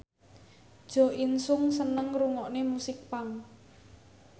Jo In Sung seneng ngrungokne musik punk